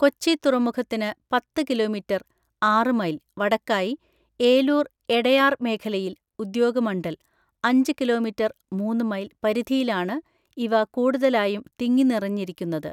കൊച്ചി തുറമുഖത്തിന് പത്ത് കിലോമീറ്റർ (ആറ് മൈൽ) വടക്കായി ഏലൂർ എടയാർ മേഖലയിൽ (ഉദ്യാഗമണ്ഡൽ) അഞ്ച് കിലോമീറ്റർ (മൂന്ന് മൈൽ) പരിധിയിലാണ് ഇവ കൂടുതലായും തിങ്ങിനിറഞ്ഞിരിക്കുന്നത്.